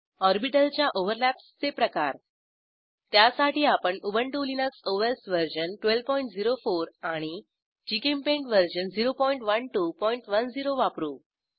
ऑर्बिटलच्या ओव्हरलॅप्सचे प्रकार त्यासाठी आपण उबंटु लिनक्स ओएस वर्जन 1204आणि जीचेम्पेंट वर्जन 01210वापरू